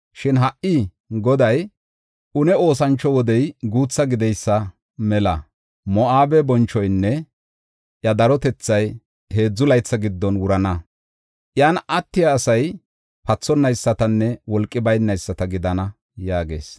Shin ha77i Goday, “Une oosancho wodey guutha gideysa mela Moo7abe bonchoynne iya darotethay heedzu laytha giddon wurana. Iyan attiya asay pathonaysatanne wolqi baynayisata gidana” yaagees.